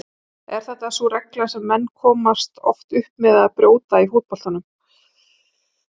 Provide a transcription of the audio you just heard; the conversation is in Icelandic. Er þetta sú regla sem menn komast oftast upp með að brjóta í fótboltanum?